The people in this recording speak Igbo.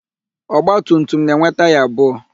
Ọgbatumtum na-enwe taya abụọ.